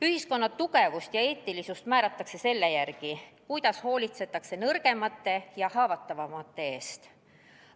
Ühiskonna tugevuse ja eetilisuse üle otsustatakse selle järgi, kuidas hoolitsetakse nõrgemate ja haavatavamate eest.